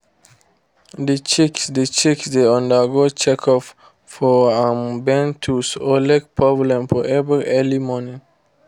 the chicks the chicks dey undergo check up for um bent toes or leg problem for every early morning.